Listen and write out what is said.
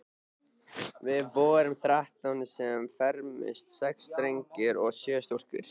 Við vorum þrettán sem fermdumst, sex drengir og sjö stúlkur.